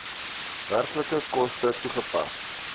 werklike koste toegepas